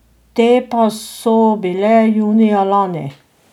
Te pa so bile junija lani.